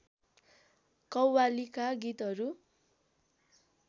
कव्वालीका गीतहरू